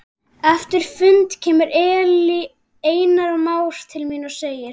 Eftir fundinn kemur Einar Már til mín og segir